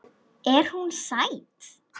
Er hún sæt?